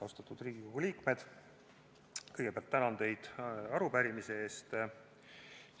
Austatud Riigikogu liikmed, kõigepealt tänan teid arupärimise eest!